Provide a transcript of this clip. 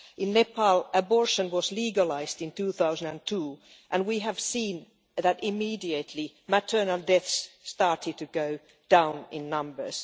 In Nepal, abortion was legalised in 2002, and we have seen that immediately, maternal deaths started to go down in numbers.